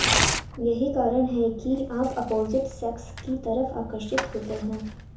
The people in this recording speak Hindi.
यही कारण है कि आप अपोजिट सेक्स की तरफ आकर्षित होते हैं